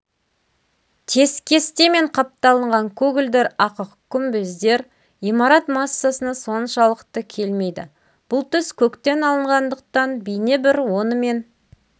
тескестемен қапталынған көгілдір ақық күмбездер имарат массасына соншалықты келмейді бұл түс көктен алынғандықтан бейнебір онымен